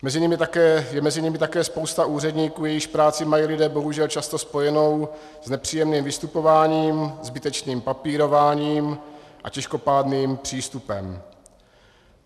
Je mezi nimi také spousta úředníků, jejichž práci mají lidé bohužel často spojenou s nepříjemným vystupováním, zbytečným papírováním a těžkopádným přístupem.